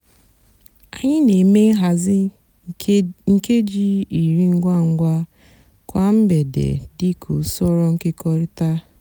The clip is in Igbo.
ányị nà-èmè nhazi nkéjí írí ngwa ngwa kwá mgbede dị kà usoro nkekọrịta.